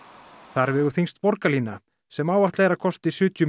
þar vegur þyngst borgarlína sem áætlað er að kosti sjötíu